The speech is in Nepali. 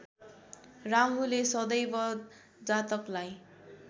राहुले सदैव जातकलाई